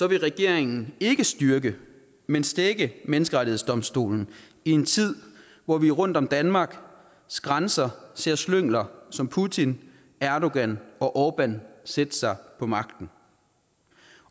vil regeringen ikke styrke men stække menneskerettighedsdomstolen i en tid hvor vi rundt om danmarks grænser ser slyngler som putin erdogan og orbán sætte sig på magten